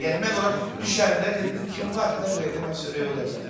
Yəni mən ora düşəndə dedim kim var? Dedilər Röyə dedi mən çörəyi udacaq.